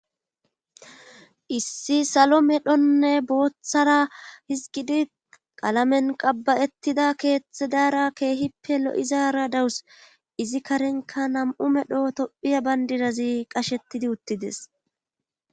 issi salo medhonne booththara hizgidi qalamen qabba7ettida keethethedaara keehippe lo7izara dawus izi karenka nam7u medho tophiya bayndidazi qashettidi uttides